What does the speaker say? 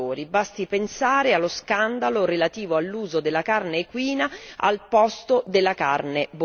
Basti pensare allo scandalo relativo all'uso della carne equina al posto della carne bovina.